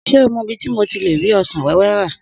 Sé o mo ibi ti mo ti le rí ọsàn wéwé rà?